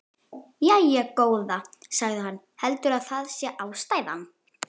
Jæja, góða, sagði hann, heldurðu að það sé ástæðan?